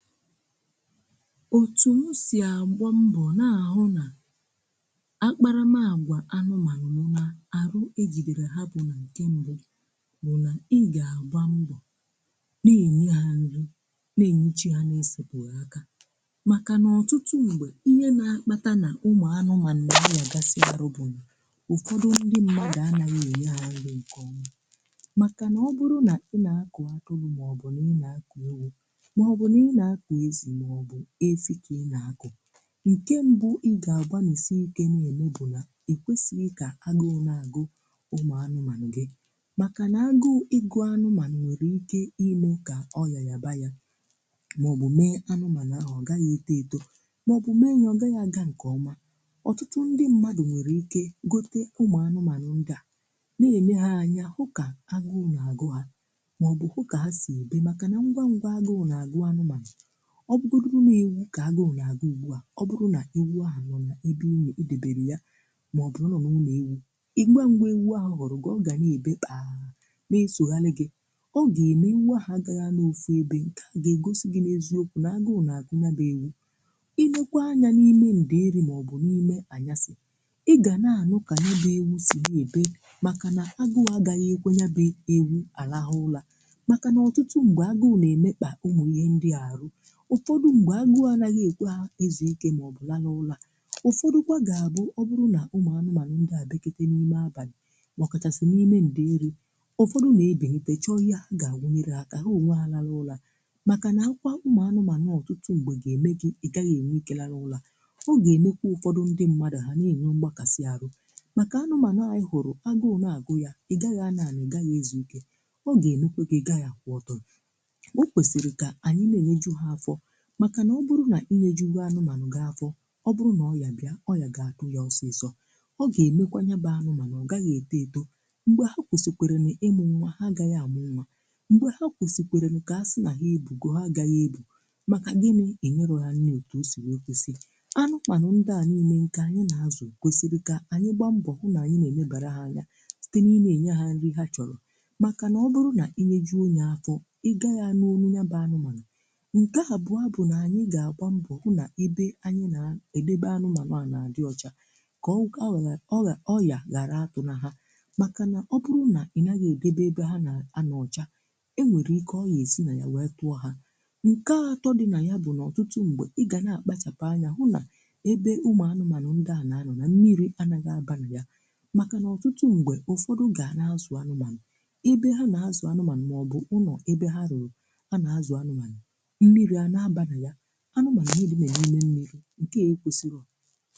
Òtù m sì agbàmbọ̀ n’ahụ̀ na àkparamàgwà anụ̀mànụ̀ m nà arụ̀ ejì lèrè hà bụ̀ nà nke mbù bụ̀ nà... ì gà-àgbà mbọ̀ nà-ènye hà nrì nà-ènyechì hà nà-èsèkpùghí aka. Màkà nà... ọ̀tụtụ̀ mgbè, ihe nà-akpàtà nà ụmụ̀ anụ̀mànụ̀ nà-agbàsịàrù bụ̀, nà ǹtụ̀dọ̀ ndị mmadụ̀ anà-rí nà-ènye hà nrì. Maka na oburu na i nà-àkụ̀ aturu ma obu ewu, mobu ni nà-àkụ̀ ezi mobu efìkà i nà-àkụ̀ nke mbù, ì gà-agbàlisì ike nà-èmè bụ̀ nà… èkwèsìghì kà agụụ̀ nà-agụ̀ ụmụ̀ anụ̀mànụ̀ gị̀. Màkà nà… agụụ̀ nà-agụ̀ anụ̀mànụ̀ nwèrè ike imè kà ọ̀yà yà bànyà maọ̀bụ̀ mèe anụ̀mànụ̀ ahụ̀ ọ̀ gà-aghi eto eto maọ̀bụ̀ mèe yà ọ gà-aghi agà nke ọ̀mà. Ọ̀tụtụ̀ ndị̀ mmadụ̀ nwèrè ike gòtè ụmụ̀ anụ̀mànụ̀ ndị à um nà-èmèghà anya hụ̀kà agụụ̀ nà-agụ̀ hà, maọ̀bụ̀ hụ̀kà hà sị̀ ebe. Màkà nà ngwa ngwa agụụ̀ nà-agụ̀ anụ̀mànụ̀ ọ̀ bụrụ̀rụ̀ nà ewu, kà agụụ̀ nà-agụ̀ ùgbù à. Ọ̀ bụrụ̀ nà ewu à nọ n’àlà ebe ụ́mè èdèbèrè yà, maọ̀bụ̀ nọ n’ụ̀nọ̀ ewu, ìgbà mgbè ewu à hụrụ̀ gi, ọ̀ gà-ànebe kpaa n’èsòghàlì gị̇. Ọ̀ gà-èmè iwu àhụ̀ agà-aghi à. N’òtù ebe ntà gà-ègòsì gị̇ n’èziokwu nà agụụ̀ nà-agụ̀ bụ̀ ewu. Ì bèkwa anya n’ìmé ndị ère maọ̀bụ̀ n’ìmé anyàsì̀ ì gà na-à nọ kà bụ̀ ewu sị ebe. Màkà nà agụụ̀ agà-aghi à èkwè yà bụ̀ ewu à làhụ̀ ụ̀rà. Màkà nà eeh ọ̀tụtụ̀ mgbè, agụụ̀ nà-èmèkpà ǹmụ̀. Ihe ndị arụ̀ ǹtụ̀fọ̀ mgbè, anà-aghi èkwè hà ịzụ̀ ìké maọ̀bụ̀ là n’ùlọ̀. Ụ̀fọ̀dị̀kwa gà-abụ̀… ọ̀ bụrụ̀ nà ụmụ̀ anụ̀mànụ̀ ndị à dèkọtè n’ìmé abalì mà ọ̀ kàsị̀ n’ìmé ndị ère, ǹtụ̀fọ̀dụ̀ nà-èbi. N’pèchè ọ̀ yà hà gà-àwụnyèrị̀ aka hà onwe hà, làrà ùlọ̀. Màkà nà àkwà ụmụ̀ anụ̀mànụ̀ n’ọ̀tụtụ̀ mgbè gà-èmè gị̇ ì gà-aghi enwe ike làrà ùlọ̀ ọ̀ gà-èmèkwù̀. Ụ̀tụ̀fọ̀ ndị mmadụ̀ hà na-ènwe mbàkasì arụ̀ màkà anụ̀mànụ̀. Ànyì hụrụ̀ agụụ̀ nà-agụ̀ yà ì gà-aghi ànàànị̀ gà-aghi èzù ìké. Ọ̀ gà-ènekwa gị̇ gà-aghi kwa. Ọ̀tụ̀fọ̀ o kwèsìrì, màkà nà ọ̀bụ̀rụ̀ nà ì lèjì gwà anụ̀mànụ̀, gà-àfọ̀. Ọ̀bụ̀rụ̀ nà ọ̀ yà ghìà tụ̀nyà ọ̀sị̀sọ̀ ọ̀ gà-èmèkwà nyàbà anụ̀mànụ̀. Ọ̀ gà-aghi èdò èdò. M̀gbè hà kwèsèkwèrè nà ịmụ̀ nwa hà agà-aghi àmụ̀ nwa. M̀gbè hà kwèsèkwèrè nà ihe àsì nà-àghighì èbù go hà agà-aghi èbù. Màkà gị̇ nà-ènye hà nne etù o sì wēekwesì, anụ̀mànụ̀ ndị à nà-èmè nke ànyì nà-àzụ̀… kwèsìrì kà ànyì gbaa mbọ̀ hụ̀ nà ànyì nà-èmèbèrè hà nnyà sītè n’ìnà-ènye hà nrì hà chọ̀rọ̀. Màkà nà ọ̀bụ̀rụ̀ nà ì lèjì onye afọ̀ ị gà yà n’ònụ̀ nyàbà anụ̀mànụ̀ hà bụ̀ nà ànyì gà-àgbà mbù hụ̀ nà ebe ànyì nà-èdèbè anụ̀mànụ̀ à nà-àdị ọ̀chà kà ọ̀ wèlè yà, ọ̀yà ghàrà àtụ̀ nà hà. Màkà nà ọ̀bụ̀rụ̀ nà ì nà-aghi èdèbè ebe hà nà-anà ọ̀chà e nwèrè ike ọ̀ yà èsì nà ya, ya tụ̀ọ̀ hà. Ǹkè atọ̀ dị nà ya bụ̀... ọ̀tụtụ̀ mgbè, ì gà na-àkpachàpụ̀ anya hụ̀ nà ebe ụmụ̀ anụ̀mànụ̀ ndị à nà-à nọ, nà mmìrì anà-aghi àbàghì yà. Màkà nà ọ̀tụtụ̀ mgbè ǹtụ̀fọ̀dụ̀ gà nà-àzụ̀ anụ̀mànụ̀ ebe hà nà-àzụ̀ anụ̀mànụ̀ màọ̀bụ̀ Ụ̀nọ̀ ebe hà rùrù. À nà-àzụ̀ anụ̀mànụ̀ anụ̀mà ghèrè niile ànyànwụ̀, mmìrì. Ǹkè e kwèsìrì.